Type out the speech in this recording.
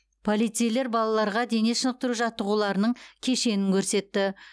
полицейлер балаларға дене шынықтыру жаттығуларының кешенін көрсетті